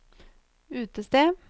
utested